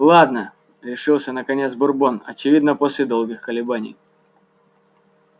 ладно решился наконец бурбон очевидно после долгих колебаний